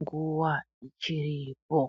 nguva ichiripo.